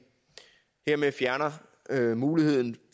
hermed fjerner muligheden